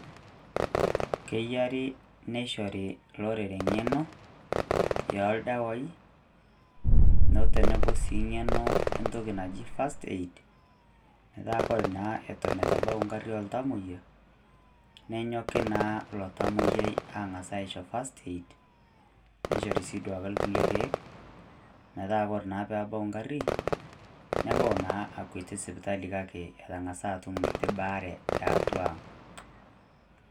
Keyiari, neishori olorere eng'eno oo ildawaii otenebo sii eng'eno entoki naji First Aid metaa koree naa Eton eitu ebau egarri oo iltamoyia, nejoki naa ilo tamoyiai aang'as ashori First Aid Neishori sii duo ake kulie kiek metaa naa kore ake peebau egarri nebau naa akwetie sipitali kake metang'asa atum enkiti baare e atwa ang'.